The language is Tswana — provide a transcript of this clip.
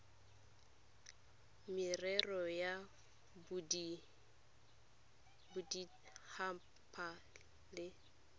merero ya bodit haba le